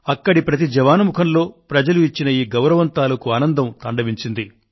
అక్కడి ప్రతి జవాను ముఖంలో ప్రజలు ఇచ్చిన ఈ గౌరవం తాలూకు ఆనందం కనిపించింది